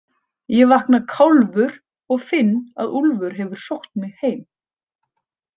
Ég vakna kálfur og finn að Úlfar hefur sótt mig heim.